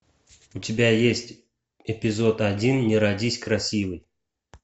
у тебя есть эпизод один не родись красивой